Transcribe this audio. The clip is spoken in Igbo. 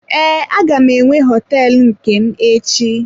Ee, aga m enwe hoteelu nke m echi.